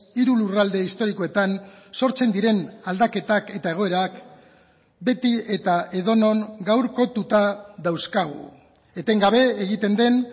hiru lurralde historikoetan sortzen diren aldaketak eta egoerak beti eta edonon gaurkotuta dauzkagu etengabe egiten den